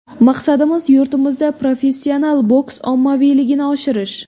Maqsadimiz yurtimizda professional boks ommaviyligini oshirish.